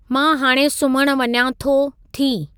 मां हाणे सुम्हणु वञा थो/थी